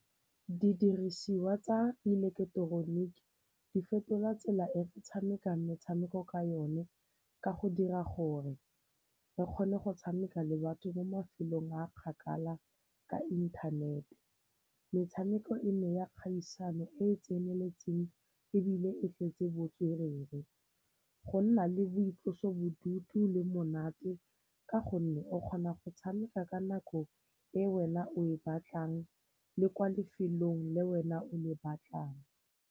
Didirisiwa tsa ileketeroniki di fetola tsela e tshamekang metshameko ka yone ka go dira gore re kgone go tshameka le batho mo mafelong a kgakala ka inthanete. Metshameko e ne ya kgaisano e e tseneletseng ebile e tletse botswerere, go nna le boitlosobodutu le monate ka gonne o kgona go tshameka ka nako e wena o e batlang le kwa lefelong le wena o e batlang.